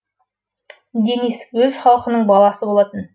денис өз халқының баласы болатын